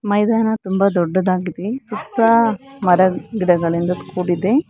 ಮೈದಾನ ತುಂಬಾ ದೊಡ್ಡದಾಗಿದೆ ಸುತ್ತ ಮರ ಗಿಡಗಳಿಂದ ಕೂಡಿದೆ.